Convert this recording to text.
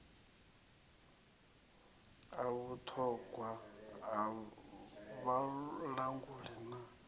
ha vhuṱhogwa ha vhalanguli na